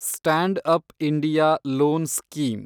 stand-up India loan scheme